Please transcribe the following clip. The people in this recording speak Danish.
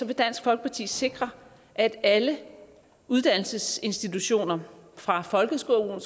vil dansk folkeparti sikre at alle uddannelsesinstitutioner fra folkeskolen